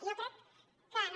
jo crec que no